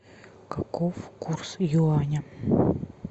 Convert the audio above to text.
каков курс юаня